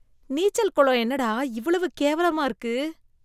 நீச்சல் குளம் என்னடா இவ்வளவு கேவலமா இருக்கு.